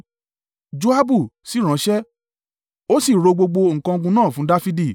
Joabu sì ránṣẹ́ ó sì ro gbogbo nǹkan ogun náà fún Dafidi.